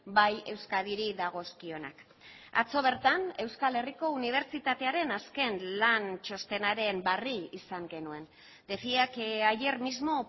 bai euskadiri dagozkionak atzo bertan euskal herriko unibertsitatearen azken lan txostenaren berri izan genuen decía que ayer mismo